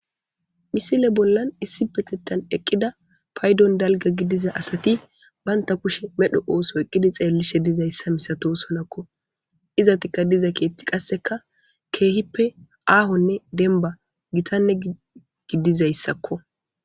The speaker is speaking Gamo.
misile bollan issi petettan eqqida paydon dalga gidiza asati banta kushe medho ooso eqqidi xeellishe dizayssa misato sonakko izatikka diza keetti qasseka keehippe aahonne denba gitanne gidizayssakko.